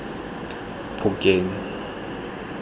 phokeng